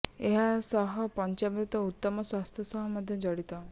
ଏହା ସହ ପଞ୍ଚାମୃତ ଉତ୍ତମ ସ୍ୱାସ୍ଥ୍ୟ ସହ ମଧ୍ୟ ଜଡ଼ିତ